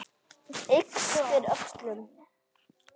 Ypptir öxlum.